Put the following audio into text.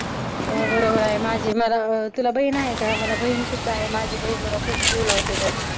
हो बरोबर आहे. माझी मला, तुला बहीण आहे का? मला बहीण सुद्धा आहे. माझी बहीण मला खूप जीव लावते बघ.